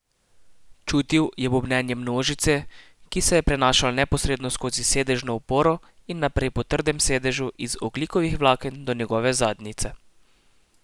Čutil je bobnenje množice, ki se je prenašalo neposredno skozi sedežno oporo in naprej po trdem sedežu iz ogljikovih vlaken do njegove zadnjice.